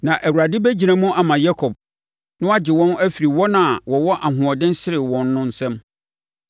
Na Awurade bɛgyina mu ama Yakob na wagye wɔn afiri wɔn a wɔwɔ ahoɔden sene wɔn no nsam.